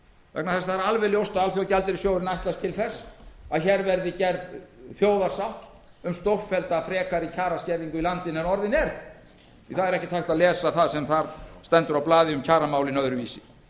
vegna þess að ljóst er að alþjóðagjaldeyrissjóðurinn ætlast til þess að gerð verði þjóðarsátt um stórfellda frekari kjaraskerðingu í landinu en orðin er það er ekkert hægt að lesa það sem þar stendur á blaði um kjaramálin öðruvísi